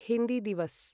Hindi Diwas